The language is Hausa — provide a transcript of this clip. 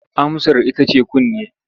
Amsar ita ce kunne.